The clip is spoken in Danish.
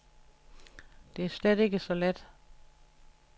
Det er slet ikke så let.